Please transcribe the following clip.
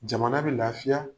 Jamana be lafiya